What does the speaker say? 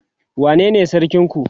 wane ne sarkin ku?